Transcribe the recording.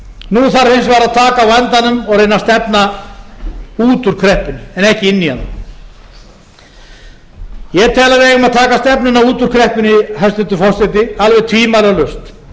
vegar að taka á vandanum og reyna að stefna út úr kreppunni en ekki inn í hana ég tel að við eigum að taka stefnuna út úr kreppunni hæstvirtur forseti alveg tvímælalaust og ef ég mann